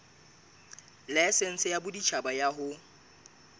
laesense ya boditjhaba ya ho